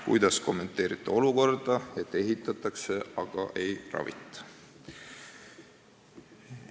Kuidas kommenteerite olukorda, et ehitatakse, aga ei ravita?